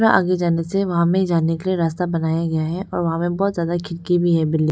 आगे जाने से वहां में जाने के लिए रास्ता बनाया गया है और वहां पे बहोत ज्यादा खिड़की भी है बिल्डिंग --